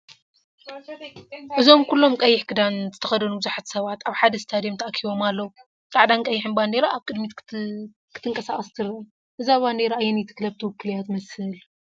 እዚ ኩሎም ቀይሕ ክዳን ዝተኸድኑ ብዙሓት ሰባት ኣብ ሓደ ስታድዩም ተኣኪቦም ኣለዉ። ጻዕዳን ቀይሕን ባንዴራ ኣብ ቅድሚት ክትቀሳቀስ ትረአ። እዛ ባንዴራ ኣየነይቲ ክለብ ትውክል እያ ትመስል?